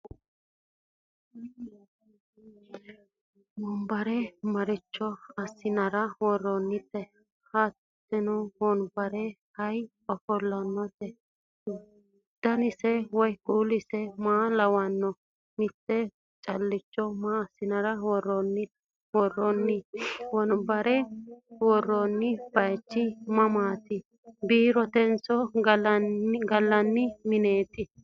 wonbarre maricho asi'nara woroonite? hattenne wonbererra ayi ofollanno? danase woyi kuulise ma lawanno? mitte calicho masi'nara woroonni? wonbarre woroonni bayichi mamaati biirotenso galanni minneti?